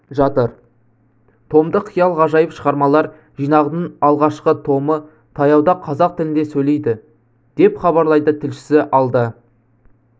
жатыр томдық қиял-ғажайып шығармалар жинағының алғашқы томы таяуда қазақ тілінде сөйлейді деп хабарлайды тілшісі алда